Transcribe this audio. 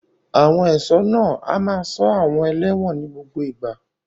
Àwọn ẹ̀ṣọ́ náà a máa ṣọ́ àwọn ẹlẹ́wọ̀n ní gbogbo ìgbà.